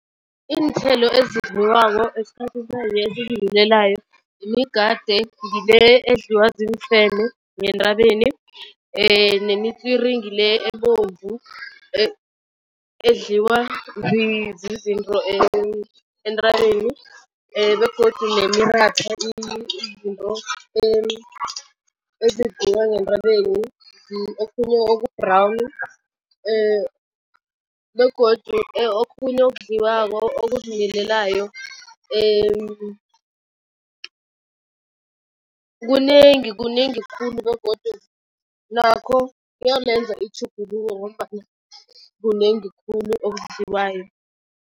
Iinthelo ezidliwako imigade ngile edliwa ziimfene ngentabeni nemitswiri ngile ebomvu edliwa zizinto entabeni. Begodu izinto ezidliwa ngentabeni okhunye oku-brown begodu okhunye okudliwako okuzimilelayo kunengi, kunengi khulu begodu nakho kuyamenza itjhuguluko ngombana kunengi khulu okudliwayo.